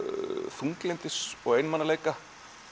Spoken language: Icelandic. þunglyndis og einmanaleika